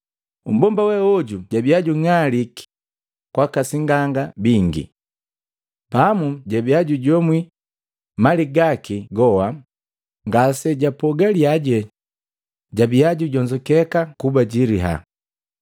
Mmbomba we oju jabia jung'aliki kwaka sing'anga bingi. Pamu jabia jujomwi mali gaki goa, ngasijapogalyaje jabia jijonzukeka kuba jiliya.